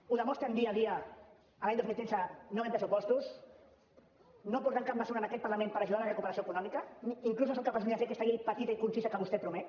ho demostren dia a dia l’any dos mil tretze no havent hi pressupostos no portant cap mesura en aquest parlament per ajudar a la recuperació econòmica i inclús no són capaços ni de fer aquesta llei petita i concisa que vostè promet